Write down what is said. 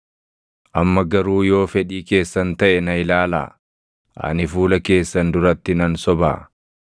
“Amma garuu yoo fedhii keessan taʼe na ilaalaa. Ani fuula keessan duratti nan sobaa?